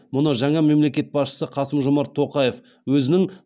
мұны жаңа мемлекет басшысы қасым жомарт тоқаев өзінің